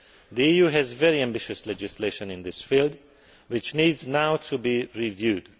The EU has very ambitious legislation in this field which needs now to be reviewed.